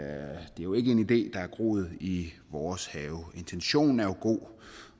er jo ikke en idé der er groet i vores have intentionen er jo god